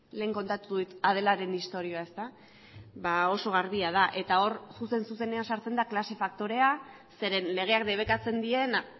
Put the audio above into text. lehen kontatu dut adelaren istorioa ezta ba oso garbia da eta hor zuzen zuzenean sartzen da klase faktorea zeren legeak debekatzen diena